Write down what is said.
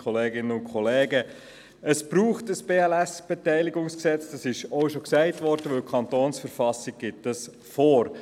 Sie haben dem Postulat mit 89 Ja- gegen 54 Nein-Stimmen bei 0 Enthaltungen zugestimmt.